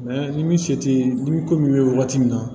ni min se tɛ nimoro bɛ waati min na